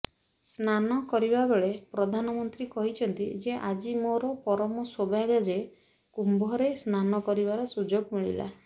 ସ୍ନାନ କରିବାବେଳେ ପ୍ରଧାନମନ୍ତ୍ରୀ କହିଛନ୍ତି ଯେ ଆଜି ମୋର ପରମ ସୌଭାଗ୍ୟଯେ କୁମ୍ଭରେ ସ୍ନାନ କରିବାର ସୁଯୋଗ ମିଳିଲା